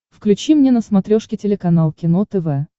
включи мне на смотрешке телеканал кино тв